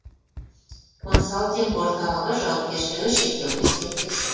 консалтинг орталығы жауапкершілігі шектеулі серіктестік